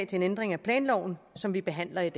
til en ændring af planloven som vi behandler i